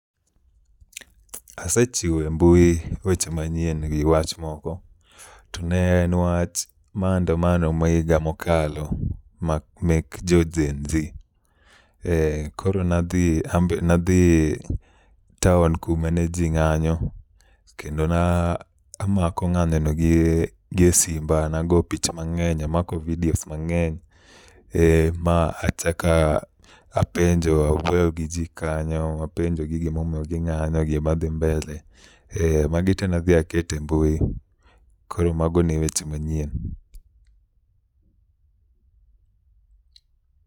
Asechiwo e mbui weche manyien gi wach moko to ne en wach maandamano ma higa mokalo mek jo GenZ koro ambe nadhi taon kumane ji ng'anyo kendo namako nyanyono gi e simba nago picha mang'eny amako vidios mang'eny machako apenjo awuoyo gi ji kanyo apenjogi gimomiyo ging'anyo gimadhi mbele magi te nadhi akete mbui koro mago ne weche manyien.